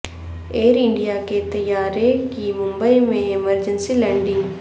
year India کے طیارے کی ممبئی میں ایمرجنسی لینڈنگ